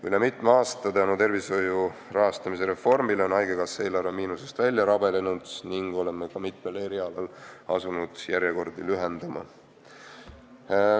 Üle mitme aasta on tänu tervishoiu rahastamise reformile haigekassa eelarve miinusest välja rabelenud ning oleme ka mitmel erialal asunud järjekordi lühendama.